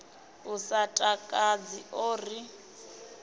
u sa takadzi o ri